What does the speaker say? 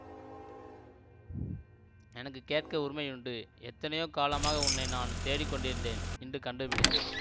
எனக்கு கேட்க உரிமையுண்டு எத்தனையோ காலமாக உன்னை நான் தேடிக் கொண்டிருந்தேன் இன்று கண்டுபிடித்தேன்